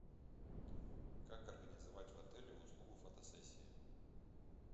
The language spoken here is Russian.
как организовать в отеле услугу фотосессии